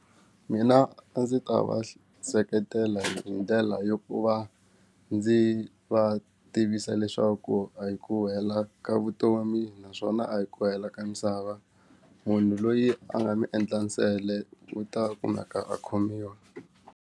Mina a ndzi ta va seketela hi ndlela yo ku va ndzi va tivisa leswaku a hi ku hela ka vutomi naswona a hi ku hela ka misava munhu loyi a nga ni endla nsele wu ta kumeka a khomiwa.